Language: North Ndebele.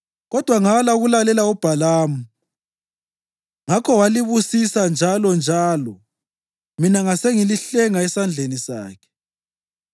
Kodwa ngala ukulalela uBhalamu, ngakho walibusisa njalonjalo mina ngasengilihlenga esandleni sakhe.